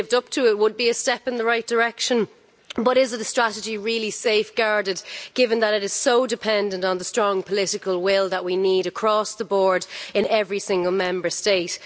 If it's lived up to, it would be a step in the right direction, but is the strategy really safeguarded, given that it is so dependent on the strong political will that we need across the board in every single Member State.